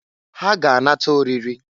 Ha ga-anata oriri.